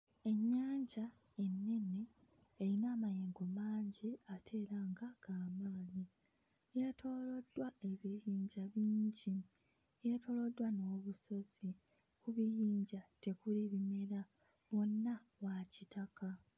Ennyanja ennene eyina amayengo mangi ate era nga g'amaanyi, yeetooloddwa ebiyinja bingi, yeetooloddwa n'obusozi, ku biyinja tekuli bimera wonna wa kitaka.